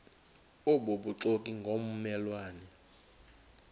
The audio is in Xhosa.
obubuxoki ngomme lwane